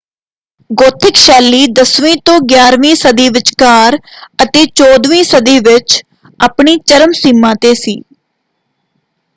Gothic ਸ਼ੈਲੀ 10ਵੀਂ-11ਵੀਂ ਸਦੀ ਵਿਚਕਾਰ ਅਤੇ 14 ਵੀਂ ਸਦੀ ਵਿੱਚ ਆਪਣੀ ਚਰਮ ਸੀਮਾ ‘ਤੇ ਸੀ।